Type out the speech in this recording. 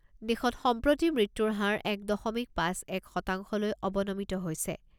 দেশত সম্প্ৰতি মৃত্যুৰ হাৰ এক দশমিক পাঁচ এক শতাংশলৈ অৱনমিত হৈছে।